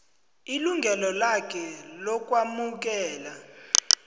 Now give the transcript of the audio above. ilungelo lakhe lokwamukela